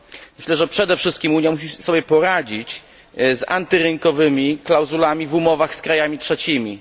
Myślę, że przede wszystkim Unia musi sobie poradzić z antyrynkowymi klauzulami w umowach z krajami trzecimi.